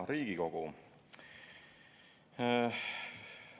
Hea Riigikogu!